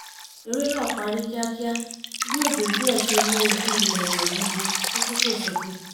eré náà parí kíákíá bí òjò díẹ̀ ṣe mú ojú ilẹ̀ yọ̀ gidi fún fífòsókè